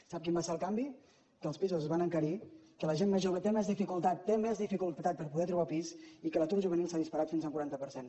sap quin va ser el canvi que els pisos es van encarir que la gent més jove té més dificultat té més dificultat per poder trobar pis i que l’atur juvenil s’ha disparat fins a un quaranta per cent